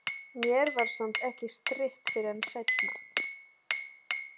Mér var samt ekki strítt fyrr en seinna.